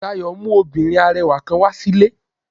Dayo mu obinrin arẹwa kan wa si ile.